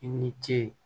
I ni ce